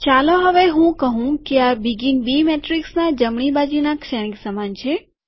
ચાલો હવે હું કહું કે આ બીગીન બી શ્રેણિકના જમણી બાજુના શ્રેણિક સમાન છે